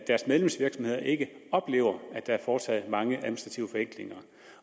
deres medlemsvirksomheder ikke oplever at der er foretaget mange administrative forenklinger